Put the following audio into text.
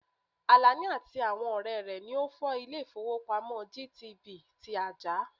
Àlàní àti àwọn ọ̀rẹ́ rẹ̀ lọ fọ́ ilè ìfówópamọ́sí GTB ti Ajah.